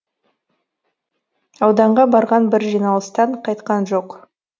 ауданға барған бір жиналыстан қайтқан жоқ